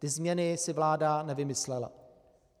Ty změny si vláda nevymyslela.